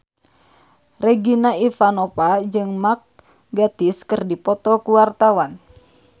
Regina Ivanova jeung Mark Gatiss keur dipoto ku wartawan